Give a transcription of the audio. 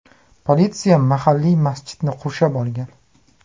Politsiya mahalliy masjidni qurshab olgan.